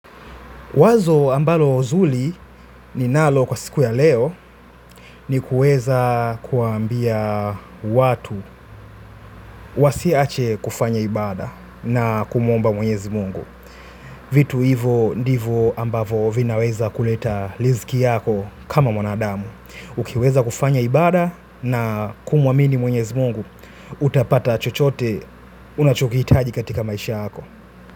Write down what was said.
Wazo ambalo zuri ninalo kwa siku ya leo ni kuweza kuwaambia watu wasiache kufanya ibaada na kumuomba mwenyezi mungu. Vitu hivo ndivo ambavyo vinaweza kuleta riski yako kama mwanadamu. Ukiweza kufanya ibaada na kumwamini mwenyezi mungu, utapata chochote unachukihitaji katika maisha yako.